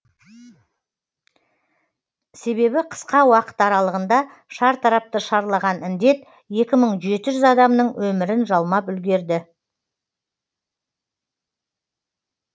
себебі қысқа уақыт аралығында шартарапты шарлаған індет екі мың жеті жүз адамның өмірін жалмап үлгерді